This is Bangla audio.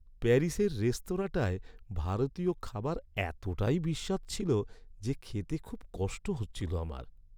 প্যারিসের রেস্তোরাঁটায় ভারতীয় খাবার এতটাই বিস্বাদ ছিল যে খেতে খুব কষ্ট হচ্ছিল আমার।